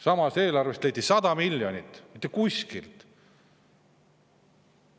Samas, eelarvest leiti 100 miljonit mitte kuskilt.